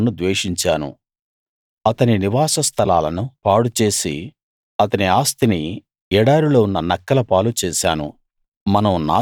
ఏశావును ద్వేషించాను అతని నివాస స్థలాలను పాడుచేసి అతని ఆస్తిని ఎడారిలో ఉన్న నక్కలపాలు చేశాను